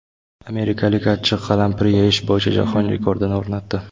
Amerikalik achchiq qalampir yeyish bo‘yicha jahon rekordini o‘rnatdi .